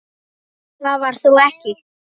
Það var þó ekki.?